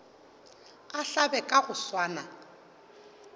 a hlabe ka go swana